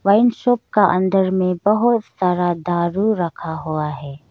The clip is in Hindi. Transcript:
वाइन शॉप का अंदर में बहुत सारा दारू रखा हुआ है।